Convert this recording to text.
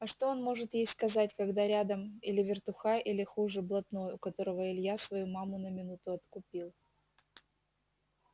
а что он может ей сказать когда рядом или вертухай или хуже блатной у которого илья свою маму на минуту откупил